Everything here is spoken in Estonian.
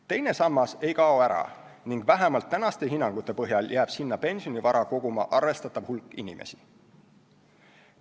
Teine sammas ei kao ära ning vähemalt praeguste hinnangute põhjal jääb sinna pensionivara koguma arvestatav hulk inimesi.